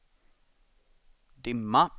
dimma